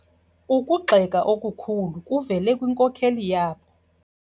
Ukugxeka okukhulu kuvele kwinkokeli yabo.